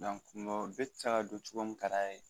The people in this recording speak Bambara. N ko bi te se ka don togo min ka d'a ye